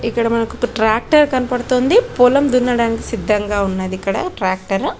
ఇక్కడ మనకి ట్రాక్టర్ కనపడుతుంది పొలం దున్నడానికి సిద్ధంగా ఉన్నది ఇక్కడ ట్రాక్టర్ .